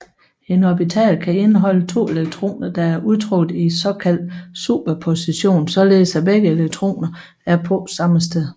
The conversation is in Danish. En orbital kan indeholde to elektroner der er udtrukket i såkaldt superposition således at begge elektroner er på samme sted